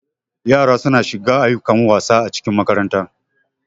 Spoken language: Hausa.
Yara suna shiga ayyukan wasa acikin makaranta.